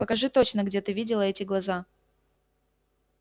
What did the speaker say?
покажи точно где ты видела эти глаза